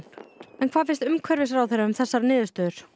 hvað finnst umhverfisráðherra um þessar niðurstöður